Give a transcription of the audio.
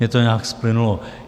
Mně to nějak splynulo.